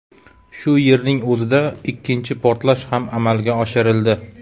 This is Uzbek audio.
Shu yerning o‘zida ikkinchi portlash ham amalga oshirildi.